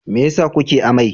Me yasa kuke amai?